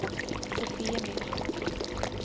Sofiemyr